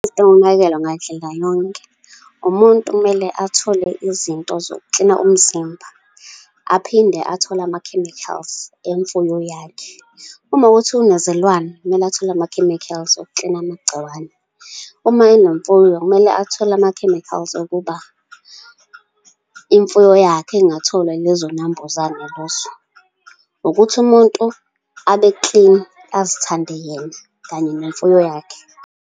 Yokunakekelwa ngandlela yonke, umuntu kumele athole izinto zokuklina umzimba, aphinde athole ama-chemicals emfuyo yakhe. Uma kuwukuthi unezilwane, kumele athole ama-chemicals okuklina amagciwane. Uma enemfuyo, kumele athole ama-chemicals ukuba imfuyo yakhe ingatholwa ilezo nambuzane lezo. Ukuthi umuntu abe clean, azithande yena, kanye nemfuyo yakhe.